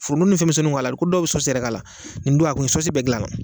Furudimi ni fɛnmisɛnnuw b'a la i ko dɔw be sɔsi yɛrɛ k'ala nin don a kun ye sɔsi bɛ gilan a la